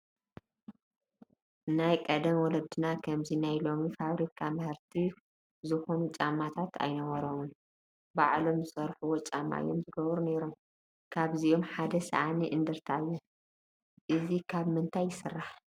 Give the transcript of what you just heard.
ናይ ቀደም ወለድና ከምዚ ሎሚ ናይ ፋብሪካ ምህርቲ ዝኾኑ ጫማታት ኣይነበርዎምን፡፡ ባዕሎም ዝሰርሕዎም ጫማ አዮም ይገብሩ ነይሮም፡፡ ካብዚኦም ሓደ ሳእኒ እንደርታን እዩ፡፡ እዚ ካብ ምንታይ ይስራሕ?